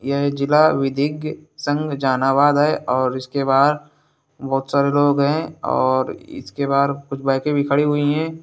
ये जिला विधिज्ञ संघ जहानाबाद है और उसके बाहर बोहोत सारे लोग है और इसके बाहर कुछ बाइके भी खड़ी हुई है।